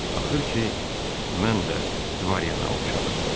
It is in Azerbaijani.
Axır ki, mən də dvaryana oxşadım.